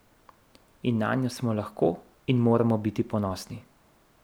In nanjo smo lahko in moramo biti ponosni.